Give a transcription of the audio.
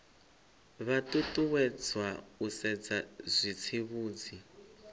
vha ṱuṱuwedzwa u sedza zwitsivhudzi